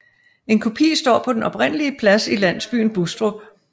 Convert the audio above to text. En kopi står på den oprindelige plads i landsbyen Bustrup